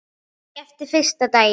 Ekki eftir fyrsta daginn.